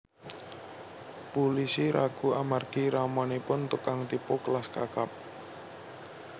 Pulisi ragu amargi ramanipun tukang tipu kelas kakap